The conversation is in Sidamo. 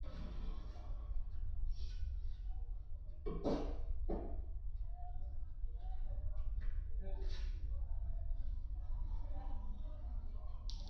tini maa xawissanno misileeti ? mulese noori maati ? hiissinannite ise ? tini kultannori maati? Kuri kiiro me'e ikkanno? me'e danna affirinno? su'ma maatti yinnanni?